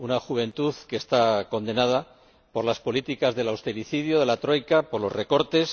Una juventud que está condenada por las políticas del austericidio, de la troika, por los recortes